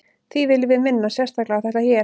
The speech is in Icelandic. því viljum við minna sérstaklega á þetta hér